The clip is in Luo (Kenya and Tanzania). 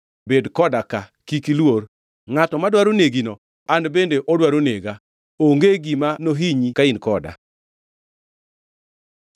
Bed koda ka; kik iluor; ngʼato madwaro negino an bende odwaro nega. Onge gima nohinyi ka in koda.”